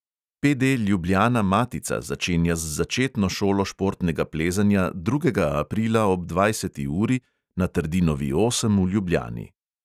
PD ljubljana-matica začenja z začetno šolo športnega plezanja drugega aprila ob dvajseti uri na trdinovi osem v ljubljani.